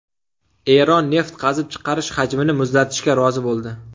Eron neft qazib chiqarish hajmini muzlatishga rozi bo‘ldi.